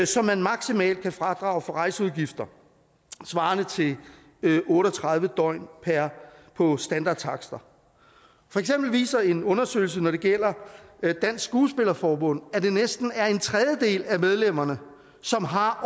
som man maksimalt kan fradrage for rejseudgifter svarende til otte og tredive døgn på standardtakster for eksempel viser en undersøgelse når det gælder dansk skuespillerforbund at det næsten er en tredjedel af medlemmerne som har